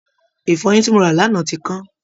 Ìfọyín tí mo rà lánàá ti kán